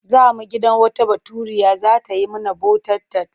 Za mu gidan wata Baturiya za ta yi mana bota-tat.